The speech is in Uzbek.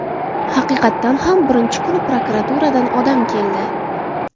Haqiqatan ham birinchi kuni prokuraturadan odam keldi.